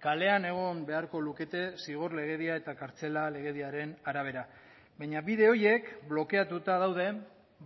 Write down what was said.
kalean egon beharko lukete zigor legedia eta kartzela legediaren arabera baina bide horiek blokeatuta daude